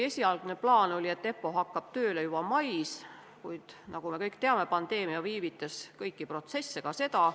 Esialgne plaan oli, et EPPO hakkab tööle juba mais, kuid nagu me teame, pandeemia aeglustas kõiki protsesse, ka seda.